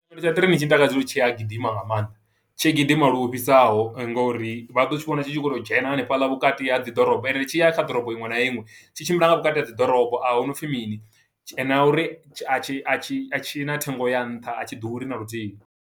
Tsha ṱireinini tshi ntakadza uri tshi a gidima nga maanḓa, tshi gidima luhofhisaho, ngo uri vha ḓo tshi vhona tshi khou to dzhena hanefhaḽa vhukati ha dzi ḓorobo. Ende tshi ya kha ḓorobo iṅwe na iṅwe, tshi tshimbila nga vhukati ha dzi ḓorobo, a huna u pfi mini, na uri a tshi a tshi a tshina, thengo ya nṱha. A tshi ḓuri na luthihi.